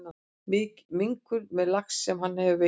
Minkur með lax sem hann hefur veitt.